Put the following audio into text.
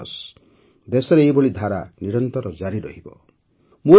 ମୋର ବିଶ୍ୱାସ ଦେଶରେ ଏହିଭଳି ଧାରା ନିରନ୍ତର ଜାରି ରହିବ